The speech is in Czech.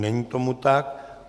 Není tomu tak.